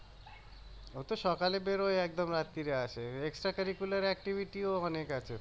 ওতো সকালে বের হয় একদম রাত্রে আসে অনেক আছে